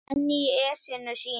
Svenni í essinu sínu.